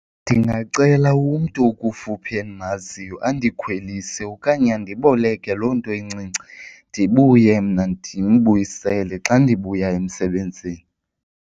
Ndingacela umntu okufuphi endimaziyo andikhwelise okanye andiboleke loo nto incinci ndibuye mna ndimbuyisele xa ndibuya emsebenzini.